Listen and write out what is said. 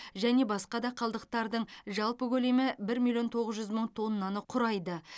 және басқа да қалдықтардың жалпы көлемі бір миллион тоғыз жүз мың тоннаны құрайды